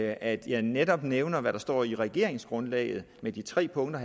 at jeg netop nævner det der står i regeringsgrundlaget med de tre punkter